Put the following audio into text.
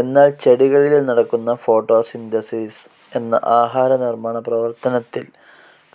എന്നാൽ ചെടികളിൽ നടക്കുന്ന ഫോട്ടോസിന്തസിസ്‌ എന്ന ആഹാരനിർമാണ പ്രവർത്തനത്തിൽ